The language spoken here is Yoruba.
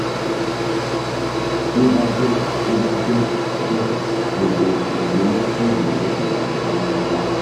ti o ba jẹ o ba jẹ bẹ gbogbo endometrium rẹ ti bajẹ patapata